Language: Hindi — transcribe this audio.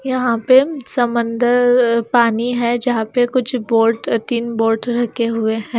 यहाँ पे समंदर पानी है जहां पे कुछ बोर्ड तीन बोर्ड रखे हुए हैं।